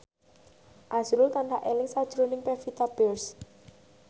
azrul tansah eling sakjroning Pevita Pearce